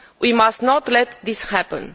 We must not let this happen.